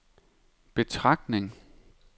betragtning